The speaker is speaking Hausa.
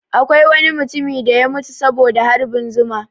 Akwai wani mutumi da ya mutu saboda harbin zuma